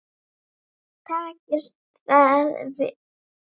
Hver liggur leiðin í sumar?